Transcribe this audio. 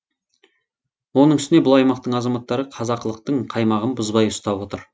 оның үстіне бұл аймақтың азаматтары қазақылықтың қаймағын бұзбай ұстап отыр